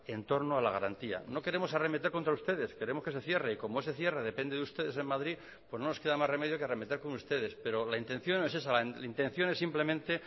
en torno a la garantía no queremos arremeter contra ustedes queremos que se cierre y como ese cierre depende de ustedes en madrid pues no nos queda más remedio que arremeter contra ustedes pero la intención no es esa la intención es simplemente